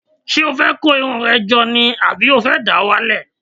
Ṣé o fẹ́ kó irun rẹ jọ ni àbí o fẹ́ dà á wálẹ̀?